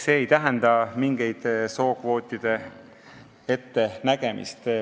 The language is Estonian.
See ei tähenda mingite sookvootide ettenägemist.